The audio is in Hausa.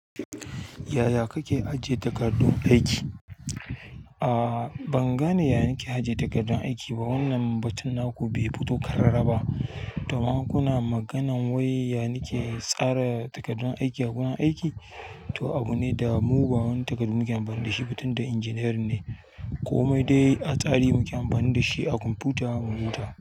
Yaya kake ajiye takardun aiki? A'a, ban gane ya nike ajiye takardan aiki ba. Wannan batun naku bai fito ƙarara ba. To amma in kuna maganan wai ya nike tsara takardun aiki a gurin aiki, to abune da mu ba wani takardu muke amfani da shi ba tunda injiniyarin ne, komai dai a tsari muke amfani da shi a kwamfuta mu huta.